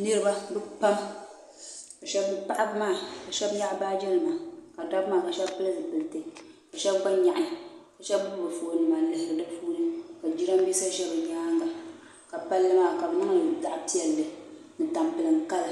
Niriba bɛ pam paɣaba maa sheba nyaɣi baaji nima ka dabba maa sheba pili zipilti ka sheba gba nyaɣi ka sheba gbibi bɛ fooni nima n lihiri di puuni jirambisa ʒɛ bɛ nyaanga ka palli maa ka bɛ niŋli zaɣa piɛlli ni tampilim kala